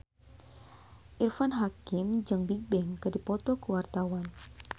Irfan Hakim jeung Bigbang keur dipoto ku wartawan